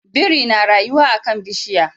Biri na rayuwa a kan bishiya